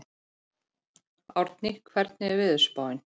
Árni, hvernig er veðurspáin?